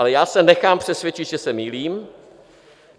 Ale já se nechám přesvědčit, že se mýlím.